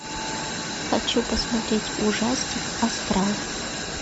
хочу посмотреть ужастик астрал